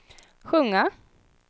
sjunga